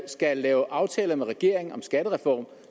skal lave aftaler med regeringen om skattereform